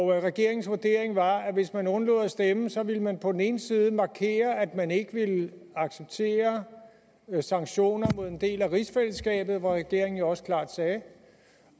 regeringens vurdering var at hvis man undlod at stemme ville man på den ene side markere at man ikke ville acceptere sanktioner mod en del af rigsfællesskabet hvad regeringen jo også klart sagde